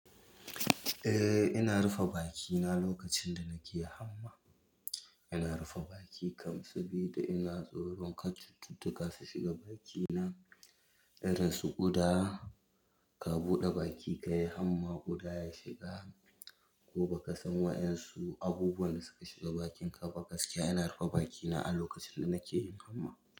Eh, ina rufe baki na lokacin da nake hamma. Ina rufe baki kam sabida ina tsoro wancan cututtuka su shiga bakina, idan su ƙuda, ka buɗe baki ka yi hamma guda ya shiga ko ba ka san waɗansu abubuwan da suka shiga bakin ka ba ka gaskiya ina rufe baki na a lokacin da nake yin hamma.